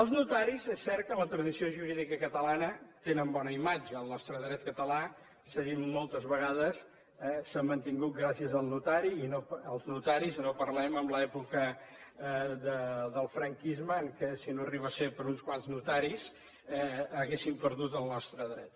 els notaris és cert que en la tradició jurídica catalana tenen bona imatge el nostre dret català s’ha dit moltes vegades s’ha mantingut gràcies als notaris i no parlem en l’època del franquisme en què si no arriba a ser per uns quants notaris hauríem perdut el nostre dret